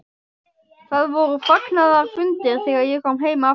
Það voru fagnaðarfundir þegar ég kom heim aftur.